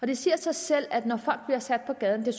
det siger sig selv at når folk bliver sat på gaden